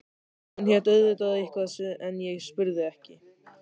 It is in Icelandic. Hún hét auðvitað eitthvað en ég spurði ekki.